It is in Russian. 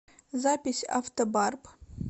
запись автобарп